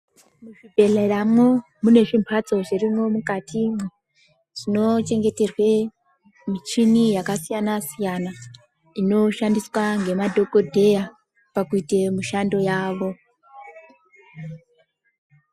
Zvibhedhleramwo mune zvimbatso zvirimwo mukatimwo zvinochengeterwe michini yakasiyana siyana inoshandiswa ngemadhokodheya pakuita mishando yawo.